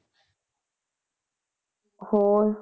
ਹੋਰ